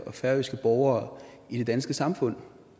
og færøske borgere i det danske samfund